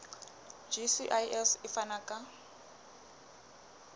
gcis e ka fana ka